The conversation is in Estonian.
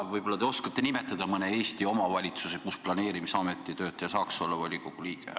Aa, võib-olla te siis oskate nimetada mõne Eesti omavalitsuse, kus planeerimisameti töötaja saab olla volikogu liige.